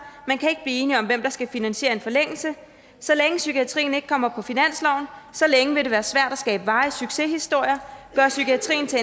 man kan ikke enige om hvem der skal finansiere en forlængelse så længe psykiatrien ikke kommer på finansloven så længe vil det være svært at skabe varige succeshistorier gøre psykiatrien til